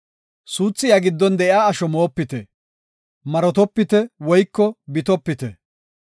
“Suuthi iya giddon de7iya asho moopite. Marotopite woyko bitopite.